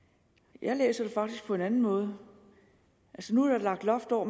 jeg læser det faktisk på en anden måde nu er der lagt loft over